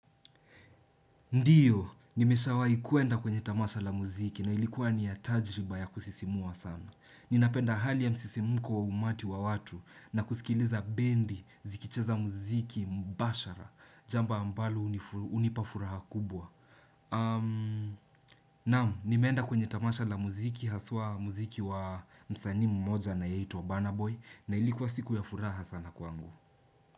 Ndiyo, nimesha kuenda kwenye tamasha la muziki na ilikuwa ni ya tajiriba ya kusisimua sana. Ninapenda hali ya msisimiko umati wa watu na kusikiliza bendi, zikicheza muziki, mbashara, jamba ambalo hunipafuraha kubwa. Naam, nimeenda kwenye tamasha la muziki, haswa muziki wa msani m moja anayeitwa wa burnaboy na ilikuwa siku ya furaha sana kwangu.